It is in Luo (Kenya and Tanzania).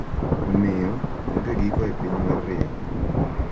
Omiyo, onge giko e piny mar rieko.